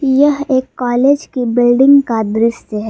यह एक कॉलेज की बिल्डिंग का दृश्य है।